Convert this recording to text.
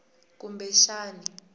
kumbexani